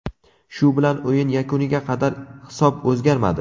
Shu bilan o‘yin yakuniga qadar hisob o‘zgarmadi.